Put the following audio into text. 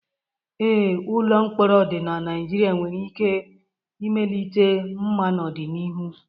Ee, ụlọ mkpọrọ dị na Nigeria nwere ike mmelite mma n'ọdịnihu.